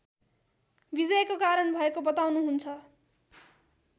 विजयको कारण भएको बताउनुहुन्छ